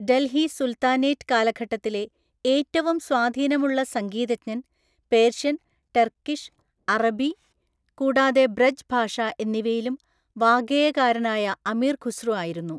Delhi sultanate കാലഘട്ടത്തിലെ ഏറ്റവും സ്വാധീനമുള്ള സംഗീതജ്ഞൻ, പേർഷ്യൻ, ടർക്കിഷ്, അറബി, കൂടാതെ ബ്രജ് ഭാഷ എന്നിവയിലും വാഗ്ഗേയകാരനായ അമീർ ഖുസ്രു ആയിരുന്നു.